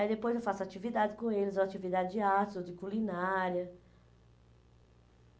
Aí depois eu faço atividade com eles, ou atividade de arte, ou de culinária.